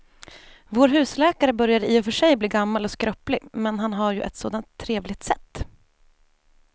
Vår husläkare börjar i och för sig bli gammal och skröplig, men han har ju ett sådant trevligt sätt!